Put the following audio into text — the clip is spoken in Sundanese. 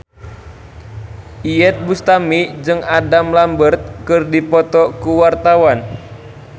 Iyeth Bustami jeung Adam Lambert keur dipoto ku wartawan